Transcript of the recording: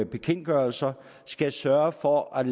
bekendtgørelser skal sørge for at